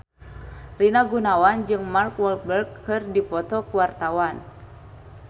Rina Gunawan jeung Mark Walberg keur dipoto ku wartawan